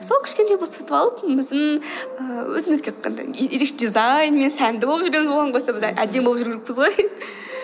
сол кішкентай болса сатып алып біздің ііі өзімізге ерекше дизаинмен сәнді болып жүреміз оған қоса біз әдемі болып жүру керекпіз ғой